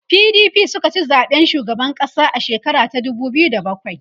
PDP sukaci zaɓen shugaban ƙasa a shekara ta dubu biyu da bakwai